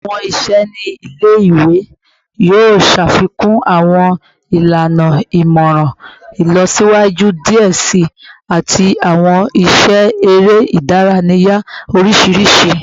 Awọn iṣẹ ni ile-iwe yoo ṣafikun awọn ilana imọran ilọsiwaju diẹ sii ati awọn iṣẹ ere idaraya oriṣiriṣi